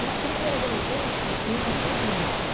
Na primeira gravidez, é, eu enjoei muito.